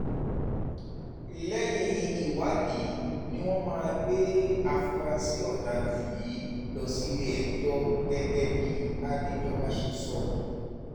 lẹ́yìn ìwádìí ni wọ́n máa gbé àfúrásì ọ̀daràn yìí lọ sílé-ẹjọ́ gẹ́gẹ́ bí adéjọba ṣe sọ